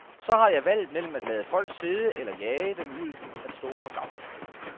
Så har jeg valget mellem at lade folk sidde eller jage dem ud at stå på gangen.